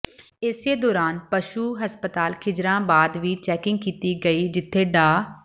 ਇਸੇ ਦੌਰਾਨ ਪਸ਼ੂ ਹਸਪਤਾਲ ਖਿਜ਼ਰਾਬਾਦ ਵੀ ਚੈਕਿੰਗ ਕੀਤੀ ਗਈ ਜਿਥੇ ਡਾ